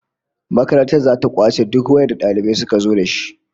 Makaranta zata kwace duk wayar da dalibai suka zo dashi